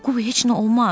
Qoy heç nə olmaz.